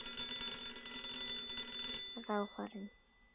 Ráfar inn.